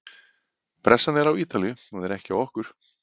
Pressan er á Ítalíu, hún er ekki á okkur.